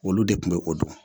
Olu de tun bɛ o don